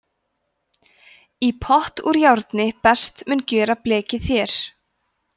í pott úr járni best mun gjöra blekið þér